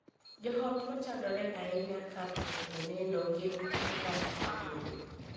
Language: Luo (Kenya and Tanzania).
Joot ma chandore ahinya ka thoo oneno gin modak e bombe.